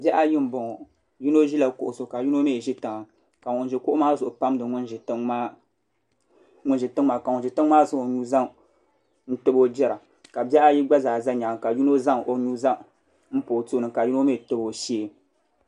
Bihi ayi n boŋo yino ʒila kuɣu zuɣu ka yino mii ʒi tiŋa ka ŋun ʒi kuɣu zuɣu maa pamdi ŋun ʒi tiŋ maa ka ŋun ʒi tiŋ maa zaŋ o nuu zaŋ tabi o jira ka bihi ayi gba zaa ʒɛ nyaanga ka yino zaŋ o nuu zaŋ pa o tooni ka yino mii tabi o shee